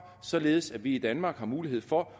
således at vi i danmark har mulighed for